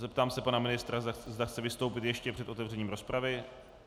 Zeptám se pana ministra, zda chce vystoupit ještě před otevřením rozpravy.